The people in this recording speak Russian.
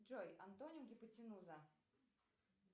джой антоним гипотенуза